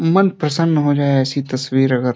मन प्रसन्न हो जाए ऐसी तस्वीर अगर --